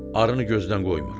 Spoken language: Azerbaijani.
Arını gözdən qoymuram.